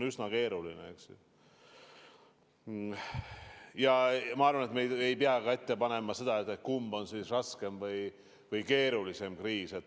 Ma arvan, et me ei pea ka pakkuma, kumb on olnud raskem või keerulisem kriis.